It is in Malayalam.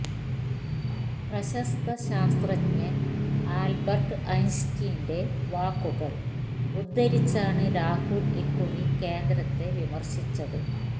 പ്രശസ്ത ശാസ്ത്രജ്ഞന് ആല്ബര്ട്ട് ഐന്സ്റ്റീന്റെ വാക്കുകള് ഉദ്ധരിച്ചാണ് രാഹുല് ഇക്കുറി കേന്ദ്രത്തെ വിമര്ശിച്ചത്